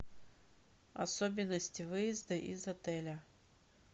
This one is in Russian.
особенности выезда из отеля